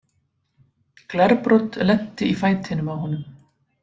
Glerbrot lenti í fætinum á honum.